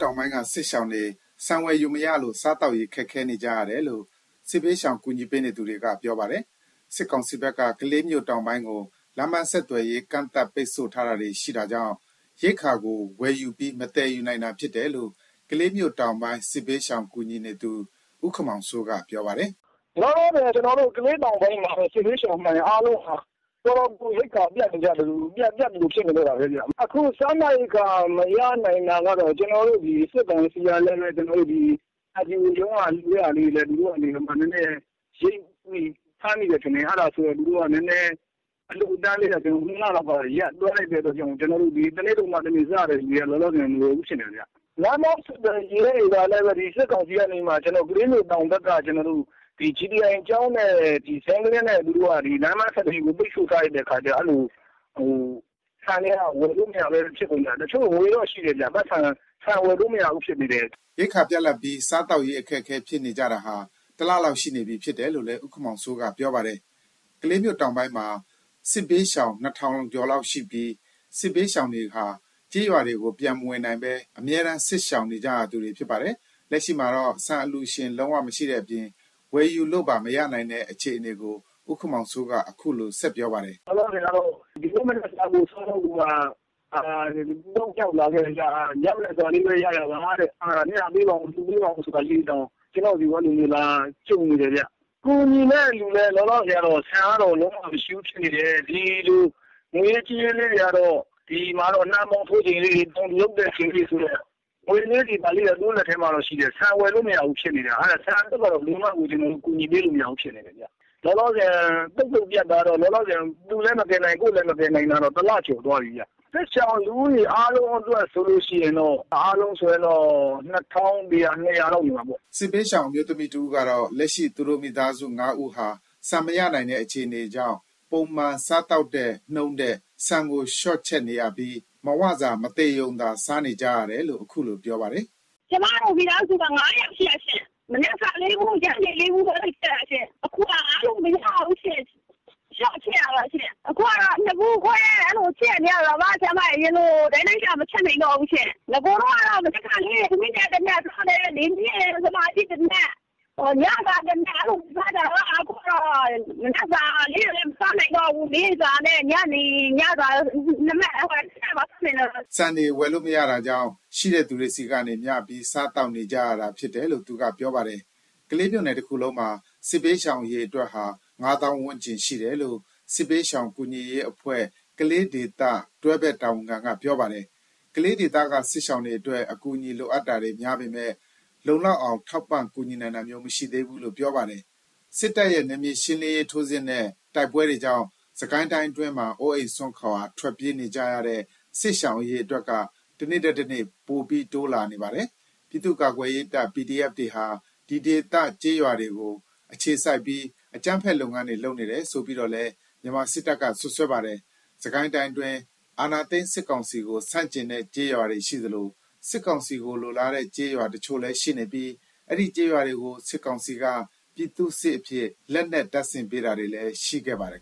တောင်ပိုင်းက စစ်ဘေးရှောင်တွေ ဆန်ဝယ်ယူမရလို့ စားသောက်ရေး ခက်ခဲနေကြရတယ်လို့ စစ်ဘေးရှောင် ကူညီပေးသူတွေက ပြောပါတယ်။ စစ်ကောင်စီဖက်က ကလေးမြို့တောင်ပိုင်းကို လမ်းပန်းဆက်သွယ်ရေး ကန့်သတ် ပိတ်ဆို့ထားတာတွေ ရှိတာကြောင့် ရိက္ခာကို ဝယ်ယူပြီး မသယ်ယူနိုင်တာဖြစ်တယ်လို့ ကလေးမြို့တောင်ပိုင်း စစ်ဘေးရှောင်ကူညီသူ ဦးမောင်စိုးက ခုလိုပြောပါတယ်။ “လောလောဆယ်ကတော့ ကလေးတောင်ပိုင်းမှာ စစ်ဘေးရှောင်မှန်ရင် အားလုံးဟာ တော်တော်ကို ရိက္ခာပြတ်သလို ဖြစ်နေကြတာဗျ။ အခု စားနပ်ရိက္ခာ မရနိုင်တာက စစ်ကောင်စီကလည်းပဲ ဒီအလှူရှင်တွေက လှူတာတွေကိုလည်း နည်းနည်း ရိပ်မိပြီး ဖမ်းမိတယ်ထင်တယ်။ အဲ့တာကြောင့် သူတို့က နည်းနည်း အလှူအတန်းလေးကလည်း ၂ လလောက် ရပ်သွားလိုက်တဲ့ အခါကျတော့ တနေ့လုပ်မှ တနေ့စားရတဲ့သူတွေကတော့ မလွယ်ဘူး ဖြစ်နေတာဗျ။ လမ်းပန်းဆက်သွယ်ရေးတွေကလည်း ကလေးမြို့တောင်ပိုင်းက ကျွန်တော်တို့ သူတို့က GTI ကျောင်းနဲ့ အနီးမှာ လမ်းပိတ်ဆို့ထားတဲ့ခါကျတော့ ဆန်တွေက ဝယ်လို့ မရဘူးဖြစ်နေတာ။ ပိုက်ဆံကတော့ ရှိတယ်ဗျ၊ ဆန်ကိုက ဝယ်လို့မရဘူး ဖြစ်နေတာ။” ဒီလို ရိက္ခာပြတ်လပ်ပြီး စားသောက်ရေး အခက်အခဲဖြစ်နေကြတာဟာ တစ်လလောက်ရှိနေပြီဖြစ်တယ်လို့ ဦးမောင်စိုးက ပြောပါတယ်။ ကလေးမြို့တောင်ပိုင်းမှာ စစ်ဘေးရှောင် ၂,၀၀၀ ကျော်လောက်ရှိပြီး ဒီစစ်ဘေးရှောင်တွေဟာ ကျေးရွာကို ပြန်မဝင်နိုင်ဘဲ အမြဲတမ်း စစ်ရှောင်နေကြရတဲ့သူတွေ ဖြစ်ပါတယ်။ လက်ရှိမှာတော့ ဆန်အလှုရှင်လည်း လုံးဝမရှိတဲ့အပြင် ဝယ်ယူလို့ပါ မရနိုင်တဲ့ အခြေအနေကို ဦးမောင်စိုးက ခုလိုပြောပါတယ်။ “လောလောဆယ်ကတော့ ဒီနေ့မနက်စားဖို့ကိုက မရှိတော့လို့ ရောက်လာတယ်၊ ညမနက်စာလေးပဲရရပါတဲ့ မျှပေးပါအုံး၊ လှုပေးပါအုံး ဆိုပြီးတော့ ကျွန်တော်ဆီကို အဲလိုလာတာမျိုးတွေ ကြုံနေရတယ်ဗျ။ ကူညီမယ့်လူကလည်း လောလောဆယ် ဆန်ကတော့ လုံးဝ မရှိဘူးဖြစ်နေတယ်၊ ဒီလို ဒီမှာတော့ ငွေရေးကြေးရေးလေးတွေကတော့ နှမ်းပေါင်းထိုးချိန်လေးတွေ တောင်သူလုပ်တဲ့အချိန်လေးတွေဆိုတော့ ငွေကြေးလေးတွေကတော့ သူတို့လက်ထဲမှာရှိတယ်။ ဆန်က ဝယ်လို့မရဘူး ဖြစ်နေတာ။ ဆန်ကတော့ ဘယ်လိုမှကို ကျွန်တော်တို့ ကူညီပေးလို့ မရဘူးဖြစ်နေတယ်ဗျ။ လောလောဆယ် လုံးဝ ပြတ်တာကတော့ သူ့လဲမကယ်နိုင် ကိုယ့်လဲမကယ်နိုင်တာကတော့ တစ်လ ကျော်သွားပြီဗျ။ စစ်ရှောင်လူဦးရေ အားလုံးဆိုရင်တော့ ၂,၀၀၀နဲ့ ၂၀၀ လောက် နေမှာပေါ့။” စစ်ဘေးရှောင်အမျိုးသမီးတစ်ဦးက လက်ရှိ သူတို့မိသားစု ၅ ဦးဟာ ဆန်မရနိုင်တဲ့ အခြေအနေကြောင့် ပုံမှန်စားသောက်တဲ့ နှုန်းထက် ဆန်ကို လျှော့ချက်နေရပြီး မဝစာ မသေရုံသာ စားနေကြရတယ်လို့ ခုလိုပြောပါတယ်။ “ကျွန်မတို့ မိသားစုက ၅ ယောက်ရှိတာရှင့်။ မနက်စာ ၄ဗူး၊ ညနေစာ ၄ ဗူး ချက်ရတာရှင့် အရင်က။ ခုတော့ မရတော့ဘူးရှင့်။ လျော့ချက်ရတာရှင့်။ ခုကတော့ ၂ဗူးခွဲ အဲ့လိုချက်ရတာ။ အရင်လို့လောက်ငှအောင် မချက်နိုင်တော့ဘူးရှင့်။ နဂိုကတော့ မနက်စာတစ်နပ်၊ နေ့လယ် တစ်နပ်၊ ညစာတစ်နပ် အဲ့လိုစားကြတာ။ ခုကျတော့ အဲ့လို မနက်စာကို မစားနိုင်ကြတော့ဘူး။ နေ့လယ်စာတစ်နပ်နဲ့ ညနေစာ တစ်နပ်ကိုမှ မသေရုံလေး စားနိုင်ကြတော့တာ။” ဆန်တွေ ဝယ်လို့မရတာကြောင့် ရှိတဲ့သူတွေဆီကနေ မျှပြီး စားသောက်နေကြရတာဖြစ်တယ်လို့ သူက ပြောပါတယ်။ ကလေးမြို့နယ်တခုလုံးမှာ စစ်ဘေးရှောင်အရေအတွက်ဟာ ၅၀,၀၀၀ ဝန်းကျင်ရှိတယ်လို့ စစ်ဘေးရှောင်ကူညီရေးအဖွဲ့ ကလေးဒေသ တွဲဖက်တာဝန်ခံက ပြောပါတယ်။ ကလေးဒေသက စစ်ရှောင်တွေအတွက် အကူအညီလိုအပ်တာတွေ များပေမယ့် လုံလောက်အောင် ထောက်ပံ့ ကူညီနိုင်တာမျိုး မရှိသေးဘူးလို့ ပြောပါတယ်။ စစ်တပ်ရဲ့ နယ်မြေရှင်းလင်းရေး ထိုးစစ်နဲ့ တိုက်ပွဲတွေကြောင့် စစ်ကိုင်းအတွင်းမှာ အိုးအိမ် စွန့်ခွာ ထွက်ပြေးနေကြရတဲ့ စစ်ရှောင် အရေအတွက်က တနေ့ထက်တနေ့ ပိုပြီးတိုးလာနေပါတယ်။ ပြည်သူ့ ကာကွယ်ရေးတပ် PDF တွေဟာ ဒီဒေသ ကျေးရွာတွေကို အခြေစိုက်ပြီး အကြမ်းဖက် လုပ်ငန်းတွေ လုပ်နေတယ်ဆိုပြီးတော့လည်း မြန်မာစစ်တပ်က စွပ်စွဲပါတယ်။ စစ်ကိုင်းတိုင်းအတွင်း အာဏာသိမ်းစစ်ကောင်စီကို ဆန့်ကျင်တဲ့ကျေးရွာတွေရှိသလို၊ စစ်ကောင်စီကိုလိုလားတဲ့ ကျေးရွာတချို့လည်းရှိနေပြီး အဲဒီကျေးရွာတွေကို စစ်ကောင်စီက ပြည်သူ့စစ်အဖြစ် လက်နက်တပ်ဆင်ပေးတာတွေလည်း ရှိခဲ့ပါတယ်